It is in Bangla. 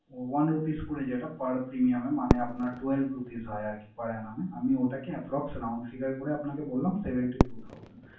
one rupees করে যেটা per premium এ মানে আপনার twelve rupees হয় আরকি per annum এ। আমি ওটাকে approx around figure করে আপনাকে বললাম seventy two thousand ।